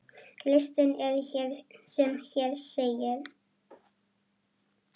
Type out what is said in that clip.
Listinn er sem hér segir